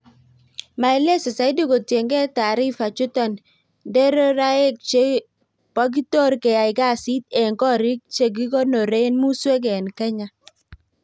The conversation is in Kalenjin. maelezo zaidi kutinge taarifa chuton nderoraek che pokitor keyai kazit en korik che kikonoren Musuek en Kenya